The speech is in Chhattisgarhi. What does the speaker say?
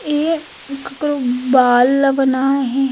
ए ककरो बाल ल बना हे।